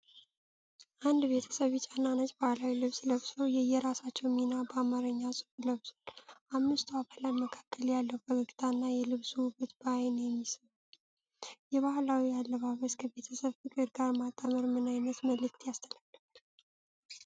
አንድ ቤተሰብ ቢጫና ነጭ ባሕላዊ ልብስ ለብሶ፣ የየራሳቸውን ሚና በአማርኛ ጽሑፍ ለብሷል። በአምስቱ አባላት መካከል ያለው ፈገግታና የልብሱ ውበት በዓይን የሚስብ ነው። የባህላዊ አለባበስን ከቤተሰብ ፍቅር ጋር ማጣመር ምን ዓይነት መልእክት ያስተላልፋል?